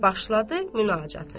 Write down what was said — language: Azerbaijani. Və başladı münacatı.